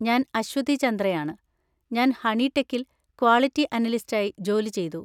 ഞാൻ അശ്വതി ചന്ദ്രയാണ്, ഞാൻ ഹണിടെക്കിൽ ക്വാളിറ്റി അനലിസ്റ്റായി ജോലി ചെയ്തു.